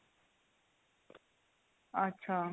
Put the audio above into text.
ਅੱਛਾ